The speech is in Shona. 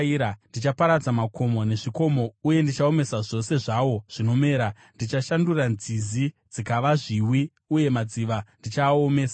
Ndichaparadza makomo nezvikomo, uye ndichaomesa zvose zvawo zvinomera; ndichashandura nzizi dzikava zviwi, uye madziva ndichaaomesa.